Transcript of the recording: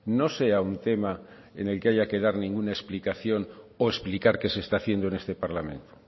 no sea un tema en el que haya que dar ninguna explicación o explicar que se está haciendo en este parlamento